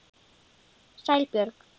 Sæl Björg.